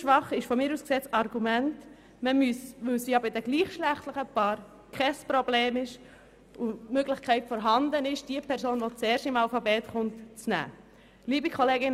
Besonders schwach ist meines Erachtens das Argument, dass dies bei gleichgeschlechtlichen Paaren kein Problem sei und die Möglichkeit bestehe, die Person zu nehmen, deren Nachname zuerst im Alphabet erscheint.